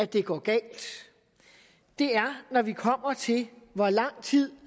det går galt det er når vi kommer til hvor lang tid